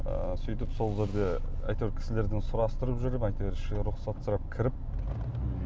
ы сөйтіп сол жерде әйтеуір кісілерден сұрастырып жүріп әйтеуір ішіне рұқсат сұрап кіріп м